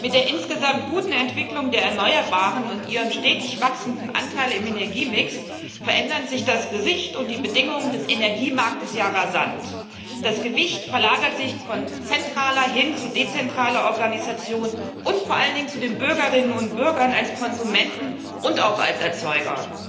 Mit der insgesamt guten Entwicklung der Erneuerbaren und ihrem stetig wachsenden Anteil im Energiemix verändern sich das Gesicht und die Bedingungen des Energiemarktes ja rasant Das Gewicht verlagert sich von zentraler hin zu dezentraler Organisation und vor allen Dingen zu den Bürgerinnen und Bürgern als Konsumenten und auch als Erzeuger.